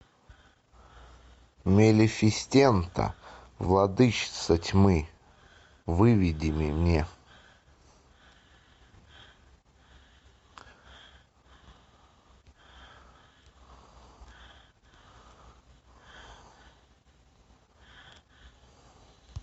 малефисента владычица тьмы выведи мне